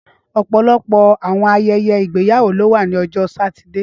Ọpọlọpọ awọn ayẹyẹ igbeyawo lo wa ni Ọjọ Satidee